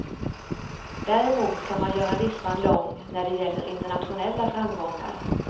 Däremot kan man göra listan lång när det gäller internationella framgångar.